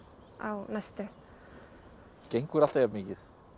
á næstu gengurðu alltaf jafn mikið